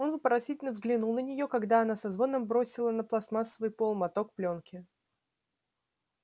он вопросительно взглянул на нее когда она со звоном бросила на пластмассовый пол моток плёнки